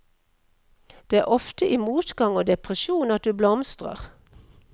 Det er ofte i motgang og depresjon at du blomstrer.